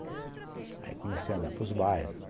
Aí comecei a andar para os bairros.